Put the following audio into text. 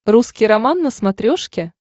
русский роман на смотрешке